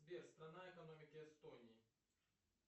сбер страна экономики эстонии